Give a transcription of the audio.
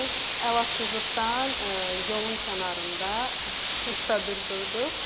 Əlacızlıqdan yolun kənarında çadır qurduq.